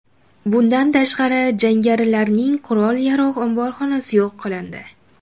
Bundan tashqari, jangarilarning qurol-yarog‘ omborxonasi yo‘q qilindi.